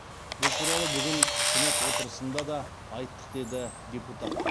бұл туралы бүгін сенат отырысында да айттық деді депутат